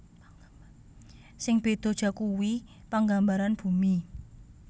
Sing béda jakuwi panggambaran bumi